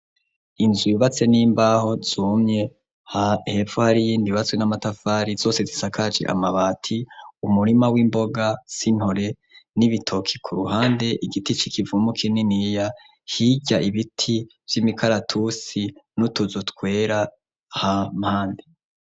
Inzu yubatse n'imbaho zumye, hepfo hari iyindi yubatse n'amatafari zose zisakaje amabati, umurima w'imboga z'intore n'ibitoke ku ruhande, igiti c'ikivumu kininiya, hirya ibiti vy'imikaratusi n'utuzu twera ha mpande.